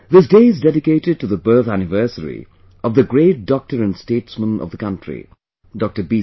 This day is dedicated to the birth anniversary of the great doctor and statesman of the country, Dr B